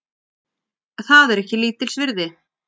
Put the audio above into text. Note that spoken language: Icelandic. Það er ekki lítils virði